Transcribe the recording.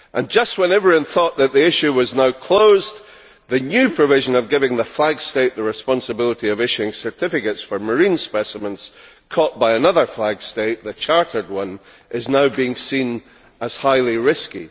Just when everyone thought that the issue was now closed, the new provision of giving the flag state the responsibity of issuing certificates for marine specimens caught by another flag state, the chartered one, is now being seen as highly risky.